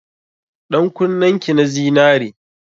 Ɗan kunnen ki na zinare.